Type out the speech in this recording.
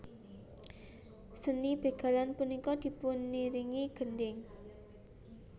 Seni bégalan punika dipuniringi gendhing